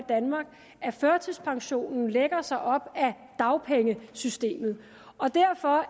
at førtidspensionen lægger sig op af dagpengesystemet derfor